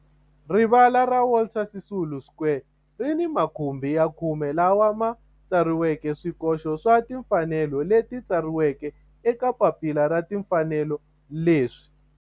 Rivala ra Walter Sisulu Square ri ni makhumbi ya khume lawa ma tsariweke swikoxo swa timfanelo leswi tsariweke eka papila ra timfanelo leswi